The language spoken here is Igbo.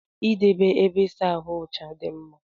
Idebe ébé ịsa ahụ ọcha dị mkpa.